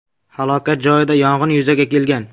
Halokat joyida yong‘in yuzaga kelgan.